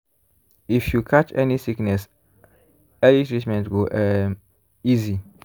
if you catch sickness early treatment go um easy.